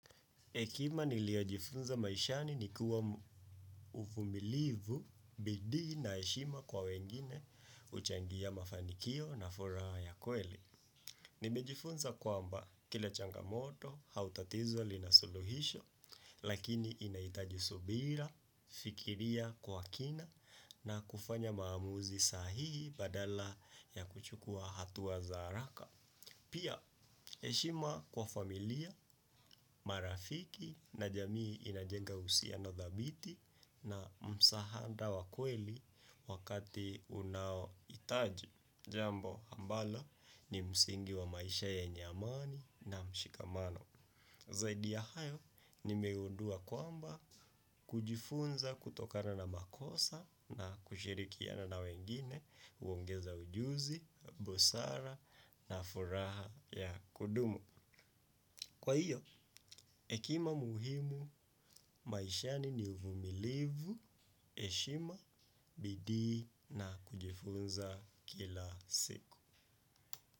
Hekima niliyojifunza maishani ni kuwa uvumilivu, bidii na heshima kwa wengine huchangia mafanikio na furaha ya kweli. Nimejifunza kwamba kila changamoto au tatizo lina suluhisho, lakini inahitaji subira, fikiria kwa kina, na kufanya maamuzi sahihi badala ya kuchukua hatua za haraka. Pia, heshima kwa familia, marafiki na jamii inajenga uhusiano thabiti na msaada wa kweli wakati unaohitaji. Jambo ambalo ni msingi wa maisha yenye amani na mshikamano. Zaidi ya hayo, nimegundua kwamba kujifunza kutokana na makosa na kushirikiana na wengine huongeza ujuzi, busara na furaha ya kudumu. Kwa hiyo, hekima muhimu maishani ni uvumilivu, heshima, bidii na kujifunza kila siku.